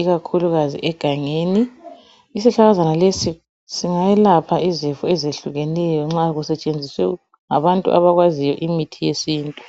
ikakhulukazi egangeni, isihlahlakazana lesi singeyelapha izifo ezehlukeneyo nxa kusetshenziswe ngabantu abakwaziyo imithi yesintu.